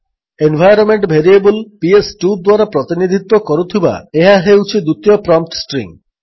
environment variable PS two ଦ୍ୱାରା ପ୍ରତିନିଧିତ୍ୱ କରୁଥିବା ଏହା ହେଉଛି ଦ୍ୱିତୀୟ ପ୍ରମ୍ପ୍ଟ୍ ଷ୍ଟ୍ରିଙ୍ଗ୍